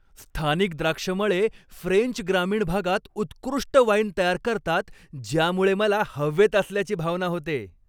स्थानिक द्राक्षमळे फ्रेंच ग्रामीण भागात उत्कृष्ट वाईन तयार करतात, ज्यामुळे मला हवेत असल्याची भावना होते.